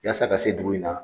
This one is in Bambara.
Yaasa ka se dugu in na